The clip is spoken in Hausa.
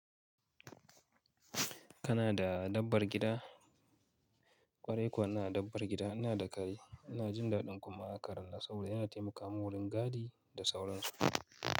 Kana da dabbar gida? Kwarai kuwa ina dabbar gida, ina da kare, ina jin daɗin kuma karan nan saboda yana taimaka mun wurin gadi da sauransu.